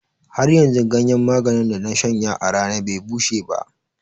Haryanzu ganyen maganin da na shanya a rana be bushe ba.